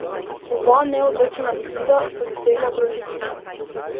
Oba neodločena izida so dosegle proti Krimu.